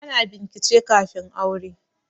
Ana bincike kafin aure